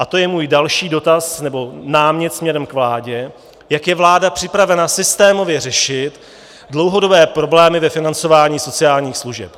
A to je můj další dotaz nebo námět směrem k vládě, jak je vláda připravena systémově řešit dlouhodobé problémy ve financování sociálních služeb.